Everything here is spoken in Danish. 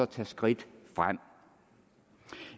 tage skridt frem